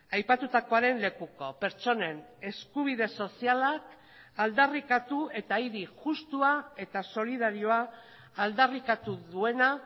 aipatutakoaren lekuko pertsonen eskubide sozialak aldarrikatu eta hiri justua eta solidarioa aldarrikatu duena